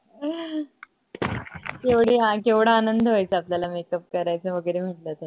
केवढी ह केवढा आनंद व्हायचा आपल्याला makeup करायचा वगरे म्हंटल तर